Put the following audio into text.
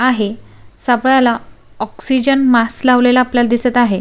आहे सापळाला oxygen mask लावलेला आपल्याला दिसत आहे.